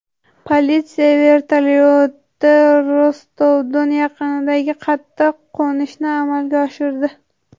Politsiya vertolyoti Rostov-Don yaqinida qattiq qo‘nishni amalga oshirdi.